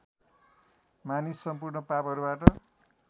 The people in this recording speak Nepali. मानिस सम्पूर्ण पापहरूबाट